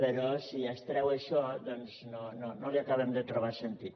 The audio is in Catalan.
però si es treu això doncs no li acabem de trobar sentit